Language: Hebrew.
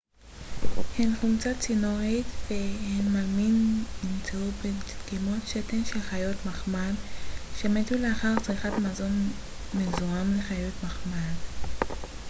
הן חומצה ציאנורית והן מלמין נמצאו בדגימות שתן של חיות מחמד שמתו לאחר צריכת מזון מזוהם לחיות מחמד